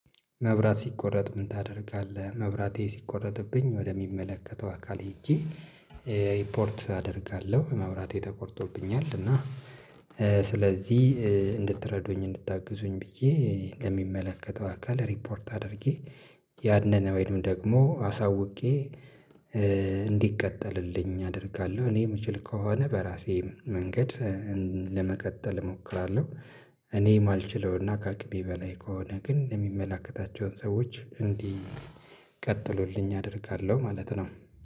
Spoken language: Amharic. መብራት ሲቆረጥ ምን ታደርጋለህ? መብራቴ ሲቆረጥብኝ ወደ ሚመለከተው አካል ሄጄ እ ሪፖርት አደርጋለሁ። መብራቴ ተቆርጦብኛል እና እ ስለዚህ እ እንድትረዱኝ እንድታግዙኝ ብዬ እ ለሚመለከተው አካል ሪፖርት አድርጌ ያንን ወይም ደግሞ አሳውቄ እ እንዲቀጠልልኝ አደርጋለሁ። እኔ የምችል ከሆነ በራሴ መንገድ እ ለመቀጠል እሞክራለሁ። እኔ ማልችለው እና ከአቅሜ በላይ ከሆነ ግን የሚመላከታቸውን ሰዎች እንዲህ ቀጥሉልኝ አደርጋለሁ ማለት ነው